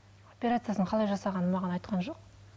операциясының қалай жасағанын маған айтқан жоқ